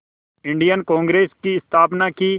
Indian Congress की स्थापना की